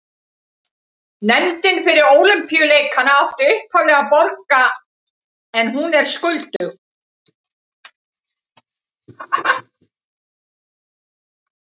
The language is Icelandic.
Nefndin fyrir Ólympíuleikana átti upphaflega að borga en hún er skuldug.